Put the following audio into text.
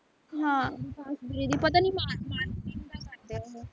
ਹਾਂ ਅਕਾਸ਼ ਵੀਰੇ ਦੀ ਪਤਾ ਨੀ ਮਾਰ marketing ਦਾ ਕਰਦੇ ਐ ਉਹ